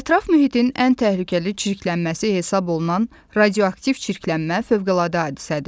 Ətraf mühitin ən təhlükəli çirklənməsi hesab olunan radioaktiv çirklənmə fəvqəladə hadisədir.